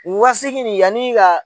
O wa seegin nin yanni i ka